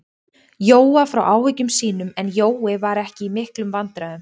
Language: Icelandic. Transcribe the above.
Jóa frá áhyggjum sínum, en Jói var ekki í miklum vandræðum.